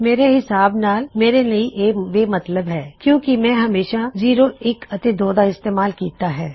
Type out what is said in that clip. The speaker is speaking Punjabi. ਮੇਰੇ ਹਿਸਾਬ ਨਾਲ ਮੇਰੇ ਲਈ ਇਹ ਬੇਮਤੱਲਬ ਹੈ ਕਿਉਂ ਕਿ ਮੈਂ ਹਮੇਸ਼ਾ ਜ਼ਿਰੋਇੱਕ ਅਤੇ ਦੋ ਦਾ ਇਸਤੇਮਾਲ ਕਿੱਤਾ ਹੈ